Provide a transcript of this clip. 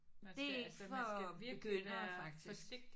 Det er ikke for begyndere faktisk